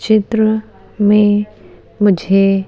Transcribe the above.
चित्र में मुझे --